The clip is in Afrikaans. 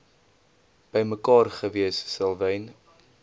bymekaar gewees selwyn